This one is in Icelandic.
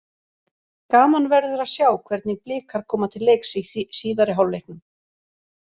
Gaman verður að sjá hvernig Blikar koma til leiks í síðari hálfleiknum.